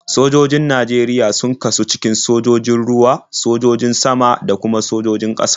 Sojojin Najeriya sun kasu cikin sojojin ruwa, sojojin sama, da kuma sojojin ƙasa.